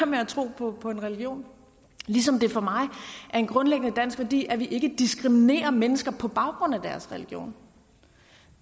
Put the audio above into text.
med at tro på på en religion ligesom det for mig er en grundlæggende dansk værdi at vi ikke diskriminerer mennesker på baggrund af deres religion